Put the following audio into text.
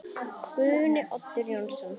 Guðni Oddur Jónsson